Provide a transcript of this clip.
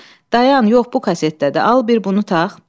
Tofiq, dayan, yox bu kasetdədir, al bir bunu tax.